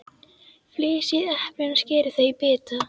Flysjið eplin og skerið þau í bita.